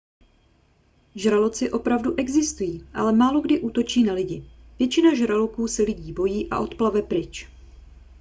žraloci opravdu existují ale málokdy útočí na lidi většina žraloků se lidí bojí a odplave pryč